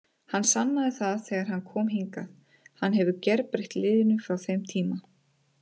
Hann sannaði það þegar hann kom hingað, hann hefur gerbreytt liðinu frá þeim tíma.